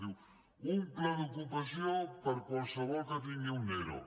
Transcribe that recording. llavors diu un pla d’ocupació per a qualsevol que tingui un ero